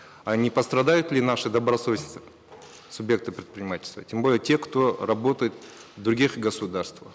а не пострадают ли наши добросовестные субъекты предпринимательства тем более те кто работает в других государствах